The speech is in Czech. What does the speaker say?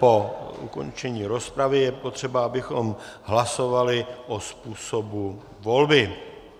Po ukončení rozpravy je potřeba, abychom hlasovali o způsobu volby.